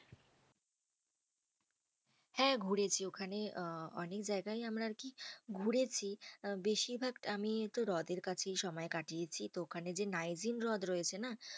হ্যাঁ ঘুরেছি, ওখানে আহ অনেক জায়গাই আমরা আর কি ঘুরেছি। বেশিরভাগ আমি তো হ্রদ এর কাছেই সময় কাটিয়েছি। তো ওখানে যে নাইভিং হ্রদ রয়েছে না